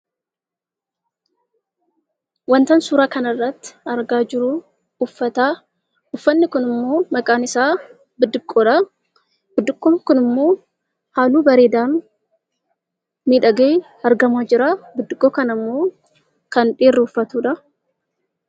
Waantan suuraa kanarratti argaa jiru uffataa; uffatni kun immoo maqaan isaa biddiqoraa. Biddiqoon kun immoo halluu bareedaa miidhagee argamaa jira. Biddiqoo kana immoo kan dhiirri uffatudha.